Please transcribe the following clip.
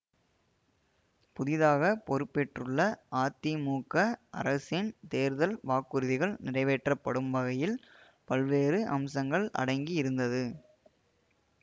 புதிதாக பொறுப்பேற்றுள்ள அதிமுக அரசின் தேர்தல் வாக்குறுதிகள் நிறைவேற்றப்படும் வகையில் பல்வேறு அம்சங்கள் அடங்கி இருந்தது